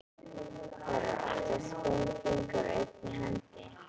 Það eru oftast fimm fingur á einni hendi.